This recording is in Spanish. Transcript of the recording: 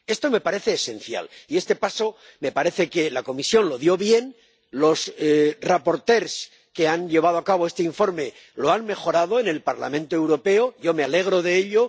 Esto me parece esencial y este paso me parece que la Comisión lo dio bien, los ponentes que han llevado a cabo este informe lo han mejorado en el Parlamento Europeo, y yo me alegro de ello.